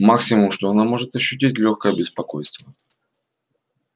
максимум что она может ощутить лёгкое беспокойство